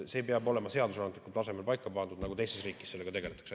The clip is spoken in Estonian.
See peab olema seadusandlikul tasemel paika pandud, nii nagu teistes riikides sellega tegeletakse.